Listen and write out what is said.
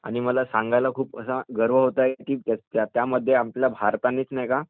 आणि मला सांगायला खूप गर्व होत आहे कि त्या मध्ये आपल्या भारतानेच नाही का